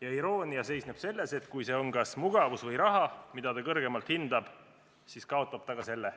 Ja iroonia seisneb selles, et kui see, mida ta kõrgemalt hindab, on kas mugavus või raha, siis kaotab ta ka selle.